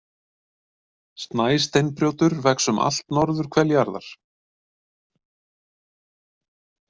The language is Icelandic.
Snæsteinbrjótur vex um allt norðurhvel jarðar.